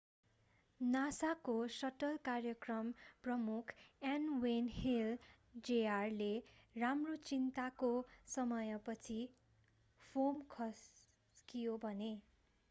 nasa को shuttle कार्यक्रम प्रमुख n. wayne hale jr.ले हाम्रो चिन्ताको समयपछि फोम खस्कियो”भने।